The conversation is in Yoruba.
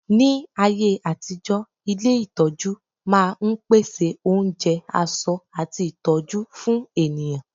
ní ayé àtijó, ilé itọju ma n pèsè onjẹ, aṣọ ati ìtọjú fún ènìyàn